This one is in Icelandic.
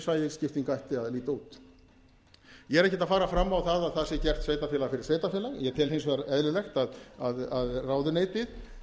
svæðis skipting ætti að líta út ég er ekkert að fara fram á að það sé gert sveitarfélag fyrir sveitarfélag ég tel hins vegar eðlilegt að ráðuneytið